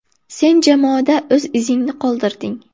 Sen jamoada o‘z izingni qoldirding.